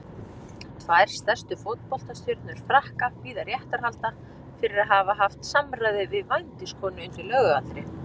Tvær stærstu fótboltastjörnur Frakka bíða réttarhalda fyrir að hafa haft samræði við vændiskonu undir lögaldri.